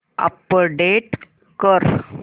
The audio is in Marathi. अपडेट कर